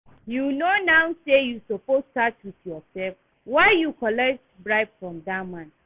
You no know say you suppose start with yourself? Why you collect bribe from dat man?